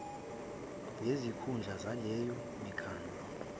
ngezikhundla zaleyo mikhandlu